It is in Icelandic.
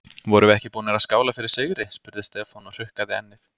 Vorum við ekki búnir að skála fyrir sigri? spurði Stefán og hrukkaði ennið.